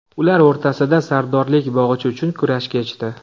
Ular o‘rtasida sardorlik bog‘ichi uchun kurash kechdi.